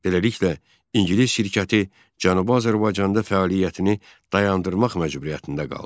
Beləliklə, ingilis şirkəti Cənubi Azərbaycanda fəaliyyətini dayandırmaq məcburiyyətində qaldı.